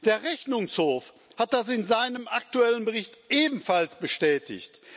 Der Rechnungshof hat das in seinem aktuellen Bericht ebenfalls bestätigt.